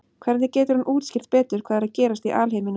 Hvernig getur hún útskýrt betur hvað er að gerast í alheiminum?